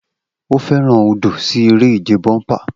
O fẹran odo si ere-ije bomper.